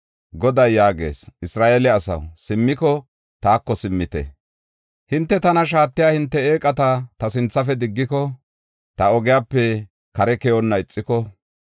Goday yaagees, “Isra7eele asaw, simmiko, taako simmite. Hinte tana shaatiya hinte eeqata ta sinthafe diggiko, ta ogiyape kare keyonna ixiko,